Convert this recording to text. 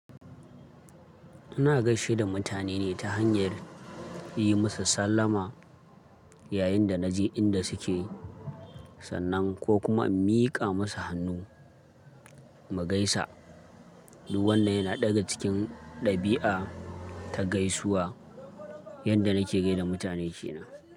Ina gaishe da mutane ne ta hanyar yi musu sallama yayin da naje inda suke sannan ko kuma in miƙa musu hannu mu gaisa. Duk wannan yana ɗaga cikin ɗabi'a ta gaisuwa yanda nake gaida mutane ke na.